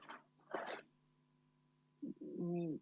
Nii.